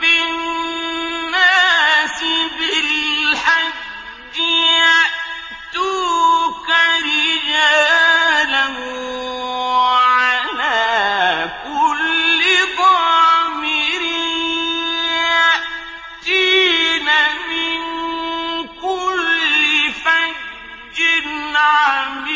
فِي النَّاسِ بِالْحَجِّ يَأْتُوكَ رِجَالًا وَعَلَىٰ كُلِّ ضَامِرٍ يَأْتِينَ مِن كُلِّ فَجٍّ عَمِيقٍ